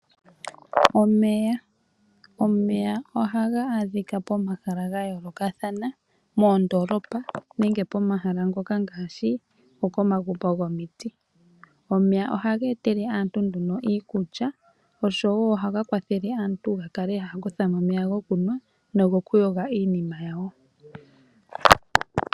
Omeya ohaga adhika pomahala gayoolokathana ngaashi moondolopa nenge pomahala ngoka gokomagumbo gomiti. Omeya ohage etele aantu iikulya osho woo ohaga kwathele aantu yakale haya kuthamo omeya kokunwa nogo kuyoga iinima yawo.